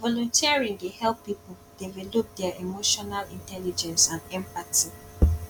volunteering dey help people develop dia emotional intelligence and empathy